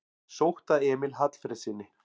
Sótt að Emil Hallfreðssyni